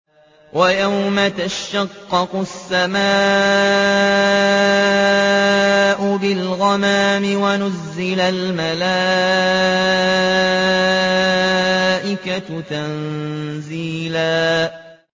وَيَوْمَ تَشَقَّقُ السَّمَاءُ بِالْغَمَامِ وَنُزِّلَ الْمَلَائِكَةُ تَنزِيلًا